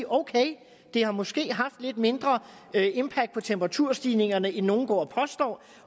ok det har måske haft lidt mindre impact på temperaturstigningerne end nogen går og påstår